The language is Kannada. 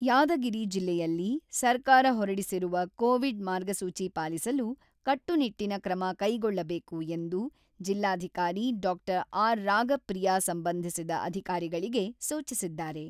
ಯಾದಗಿರಿ ಜಿಲ್ಲೆಯಲ್ಲಿ ಸರ್ಕಾರ ಹೊರಡಿಸಿರುವ ಕೋವಿಡ್ ಮಾರ್ಗಸೂಚಿ ಪಾಲಿಸಲು ಕಟ್ಟುನಿಟ್ಟಿನ ಕ್ರಮ ಕೈಗೊಳ್ಳಬೇಕು ಎಂದು ಜಿಲ್ಲಾಧಿಕಾರಿ ಡಾ.ಆರ್.ರಾಗಪ್ರಿಯಾ ಸಂಬಂಧಿಸಿದ ಅಧಿಕಾರಿಗಳಿಗೆ ಸೂಚಿಸಿದ್ದಾರೆ.